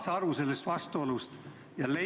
Saad sa aru sellest vastuolust?